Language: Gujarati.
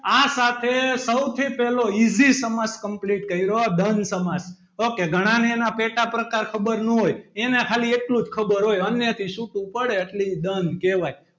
આ સાથે સૌથી પહેલો easy સમાસ complete કર્યો દ્વન્દ સમાસ ok ઘણાને એના પેટા પ્રકાર ખબર ન હોય એને ખાલી એટલું જ ખબર હોય અન્યથી છુટું પડે એટલે દ્વંદ કહેવાય.